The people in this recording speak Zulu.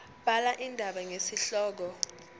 bhala indaba ngesihloko